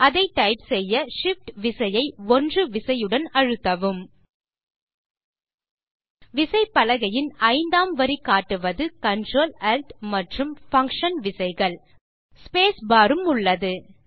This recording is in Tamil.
அதை டைப் செய்ய Shift விசையை 1 விசையுடன் அழுத்தவும் விசைப்பலகையின் ஐந்தாம் வரி காட்டுவது Ctrl Alt மற்றும் பங்ஷன் விசைகள் ஸ்பேஸ் பார் உம் உள்ளது